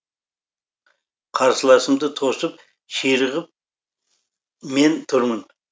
қарсыласымды тосып ширығып мен тұрмын